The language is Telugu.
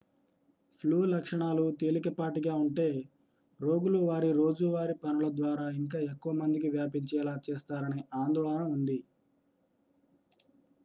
ఫ్లూ లక్షణాలు తేలికపాటిగా ఉంటే రోగులు వారి రోజువారీ పనుల ద్వారా ఇంకా ఎక్కువ మందికి వ్యాపించేలా చేస్తారనే ఆందోళన ఉంది